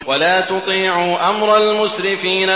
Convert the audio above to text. وَلَا تُطِيعُوا أَمْرَ الْمُسْرِفِينَ